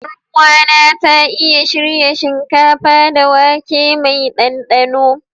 Yaruwa na ya iya shirya shinkafa da wake mai danɗano.